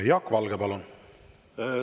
Jaak Valge, palun!